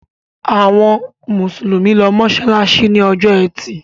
Àwọn Musulumi ló masalasi ní Ọjọ́ Ẹti.